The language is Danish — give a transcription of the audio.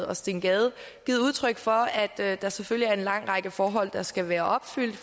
og steen gade givet udtryk for at der selvfølgelig er en lang række forhold der skal være opfyldt